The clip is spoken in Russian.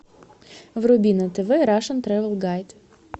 вруби на тв рашен трэвел гайд